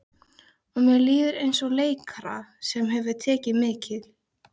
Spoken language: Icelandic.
Og mér líður eins og leikara sem hefur tekið mikil